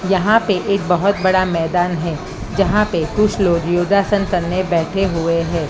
यहां पे एक बहोत बड़ा मैदान है जहां पे कुछ लोग योगासन करने बैठे हुए हैं।